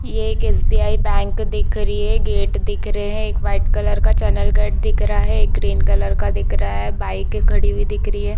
ये एक SBI. Bank दिख रही है गेट दिख रहे है एक वाइट कलर का चैनल गेट दिख रहा है एक ग्रीन कलर का दिख रहा है एक बाइक खड़ी हुई दिख रही है।